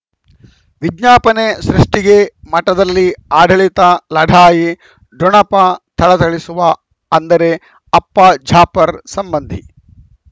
ವಿಜ್ಞಾಪನೆ ಸೃಷ್ಟಿಗೆ ಮಠದಲ್ಲಿ ಆಡಳಿತ ಲಢಾಯಿ ಠೊಣಪ ಥಳಥಳಿಸುವ ಅಂದರೆ ಅಪ್ಪ ಜಾಫರ್ ಸಂಬಂಧಿ